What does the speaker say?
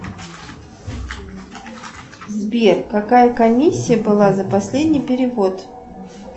сбер какая комиссия была за последний перевод